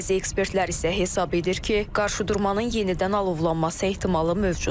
Bəzi ekspertlər isə hesab edir ki, qarşıdurmanın yenidən alovlanması ehtimalı mövcuddur.